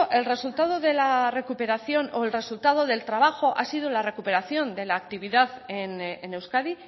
el resultado de la recuperación o el resultado del trabajo ha sido la recuperación de la actividad en euskadi